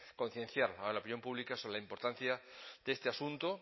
concienciar a la opinión pública sobre la importancia de este asunto